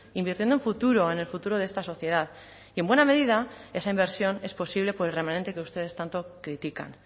invirtiendo en futuro en el futuro de esta sociedad y en buena medida esa inversión es posible por el remanente que ustedes tanto critican